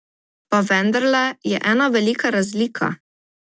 Pa vendarle je ena velika razlika.